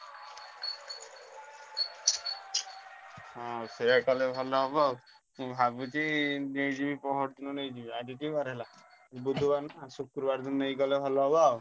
ହଁ ସେୟା କଲେ ଭଲ ହବ ଆଉ ମୁଁ ଭାବୁଛି ନେଇଯିବି ପଅରଦିନ ଆଜି କି ବାର ହେଲା ବୁଧୁବାର ନା ଶୁକ୍ରବାରେ ନେଇଗଲେ ଭଲ ହବ ଆଉ।